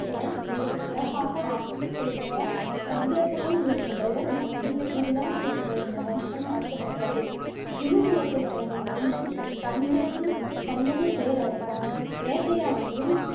இவன் மிகச்சிறப்பாக ஆட்சி செய்ததால், சந்திரகுலம் என்ற பெயர் மறைந்து குரு குலம் என்ற இந்த வம்சம் அழைக்கப்பட்டது. குருகுலத்தில் பிறந்த மன்னன் சந்திரன் சந்தனு பேரழகன். வேட்டையாடுவதில்